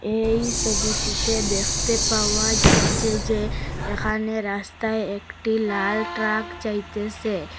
এই সোবিটিতে দেখতে পাওয়া যাচ্ছে যে এখানে রাস্তায় একটি লাল ট্রাক যাইতেসে।